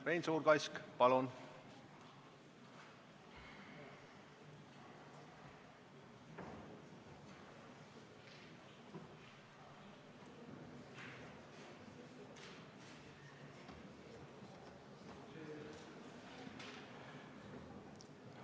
Rein Suurkask, palun!